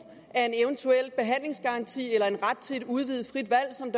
af en eventuel behandlingsgaranti eller en ret til et udvidet frit valg som